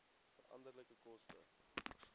veranderlike koste